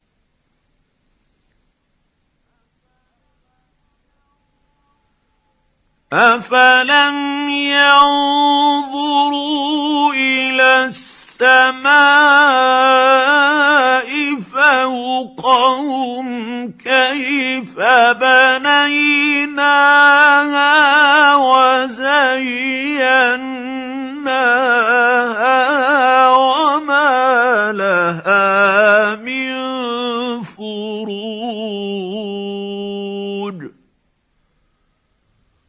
أَفَلَمْ يَنظُرُوا إِلَى السَّمَاءِ فَوْقَهُمْ كَيْفَ بَنَيْنَاهَا وَزَيَّنَّاهَا وَمَا لَهَا مِن فُرُوجٍ